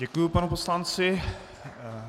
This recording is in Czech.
Děkuji panu poslanci.